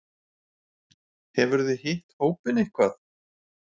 Hefurðu hitt hópinn eitthvað?